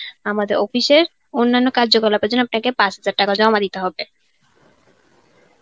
আমাদের office এ র অন্যান্য কার্যকলাপের জন্য আপনাকে পাঁচ হাজার টাকা জমা দিতে হবে.